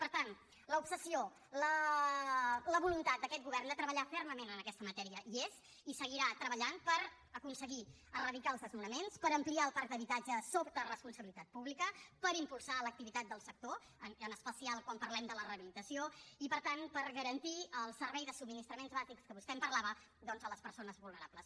per tant l’obsessió la voluntat d’aquest govern de treballar fermament en aquesta matèria hi és i seguirà treballant per aconseguir eradicar els desnonaments per ampliar el parc d’habitatge sota responsabilitat pública per impulsar l’activitat del sector en especial quan parlem de la rehabilitació i per tant per garantir el servei de subministraments bàsics de què vostè em parlava doncs a les persones vulnerables